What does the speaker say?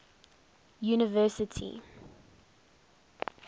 university